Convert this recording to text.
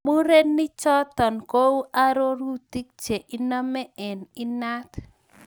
Murenichoto kou arorutik che inemu eng inat